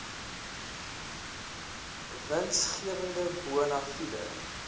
winsgewende bona fide